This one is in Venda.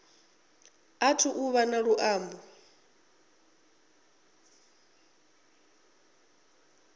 athu u vha na luambo